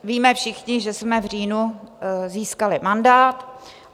Víme všichni, že jsme v říjnu získali mandát.